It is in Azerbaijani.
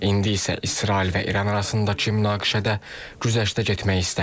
İndi isə İsrail və İran arasındakı münaqişədə güzəştə getmək istəmir.